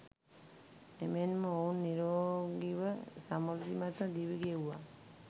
එමෙන්ම ඔවුන් නිරෝගීව සමෘද්ධිමත්ව දිවි ගෙව්වා.